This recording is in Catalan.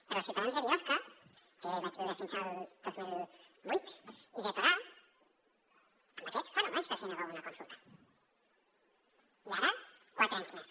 però als ciutadans de biosca que jo hi vaig viure fins al dos mil vuit i de torà a aquests fa nou anys que els hi negueu una consulta i ara quatre anys més